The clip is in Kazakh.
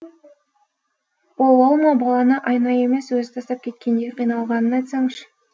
ол ол ма баланы айна емес өзі тастап кеткендей қиналғанын айтсаңшы